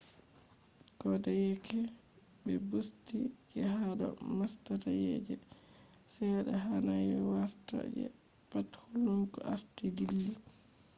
kodeyeke be busti je hado mastayi je sedda hanai warta je pat hulnuki arti dilli